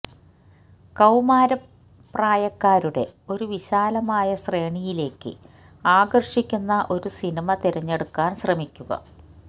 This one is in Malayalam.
കൌമാരപ്രായക്കാരുടെ ഒരു വിശാലമായ ശ്രേണിയിലേക്ക് ആകർഷിക്കുന്ന ഒരു സിനിമ തിരഞ്ഞെടുക്കാൻ ശ്രമിക്കുക